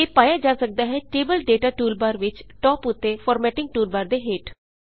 ਇਹ ਪਾਇਆ ਜਾ ਸੱਕਦਾ ਹੈ ਟੇਬਲ ਡੇਟਾ ਟੂਲਬਾਰ ਵਿੱਚ ਟਾਪ ਉੱਤੇ ਫਾਰਮੈਟਿੰਗ ਟੂਲਬਾਰ ਦੇ ਹੇਠ